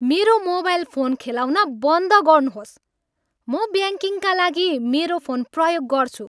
मेरो mobile phone खेलाउन बन्द गर्नुहोस्। म ब्याङ्किङका लागि मेरो फोन प्रयोग गर्छु।